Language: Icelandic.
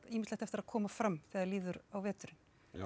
ýmislegt eftir að koma fram þegar líður á veturinn